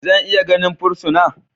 Zan iya ganin fursuna?